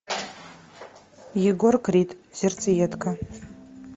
егор крид сердцеедка